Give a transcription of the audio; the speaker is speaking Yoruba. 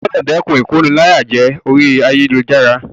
O gbúdọ̀ dẹ́kun ìkóniláyàjẹ orí ayélujára.